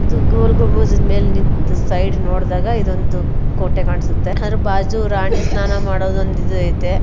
ಇದು ಗೋಲ್ ಗುಂಬಜ್ ಮೇಲೆ ನಿಂತ ಸೈಡ್ ನೋಡದಾಗ್ ಇದು ಒಂದು ಕೋಟೆ ಕಾಣಸುತ್ತೆ ಬಾಜು ರಾಣಿ ಸ್ನಾನ ಮಾಡೋದು ಒಂದು ಇದು ಐತೆ.